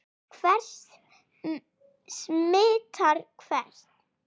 Hver smitar hvern?